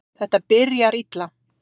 Þetta byrjar illa.